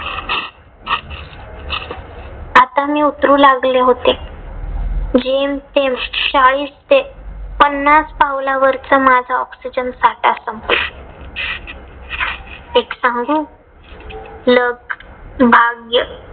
आता मी उतरू लागले होते. जेम तेम चाळीस ते पन्नास पावलावरच माझा ऑक्सिजन साठा संपला. एक सांगू luck भाग्य